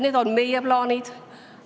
Need on meie plaanid.